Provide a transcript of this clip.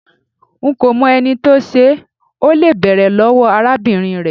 Nko mo eni to se, o le bere lowo arabinrin re